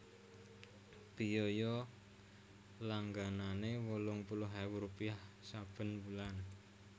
Biaya langganané wolung puluh ewu rupiah saben wulan